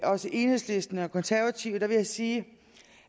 også enhedslisten og konservative vil jeg sige